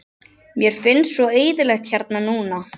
Mér finnst svo eyðilegt hérna núna.